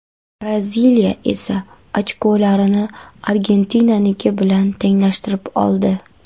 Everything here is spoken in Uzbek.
Braziliya esa ochkolarini Argentinaniki bilan tenglashtirib oldi.